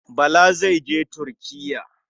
Bala zai je Turkiya.